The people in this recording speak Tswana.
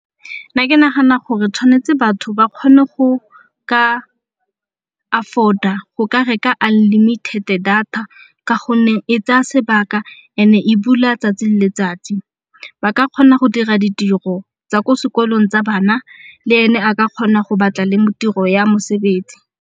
Nna ke nagana gore tshwanetse batho ba kgone go ka afford-a go ka reka unlimited-e data ka gonne e tsaya sebaka ene e bula 'tsatsi le letsatsi. Ba ka kgona go dira ditiro tsa ko sekolong tsa bana le ene a ka kgona go batla le tiro ya mosebetsi.